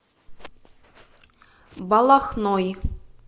балахной